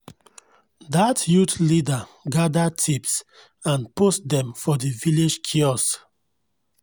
dat youth leader gather tips and post dem for di village kiosk